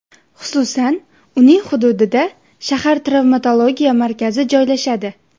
Xususan, uning hududida shahar travmatologiya markazi joylashadi.